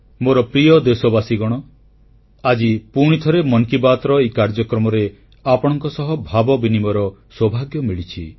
ମୋର ପ୍ରିୟ ଦେଶବାସୀଗଣ ଆଜି ପୁଣିଥରେ ମନ କି ବାତ୍ର ଏହି କାର୍ଯ୍ୟକ୍ରମରେ ଆପଣଙ୍କ ସହ ଭାବ ବିନିମୟର ସୌଭାଗ୍ୟ ମିଳିଛି